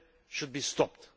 should be stopped.